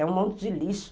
É um monte de lixo.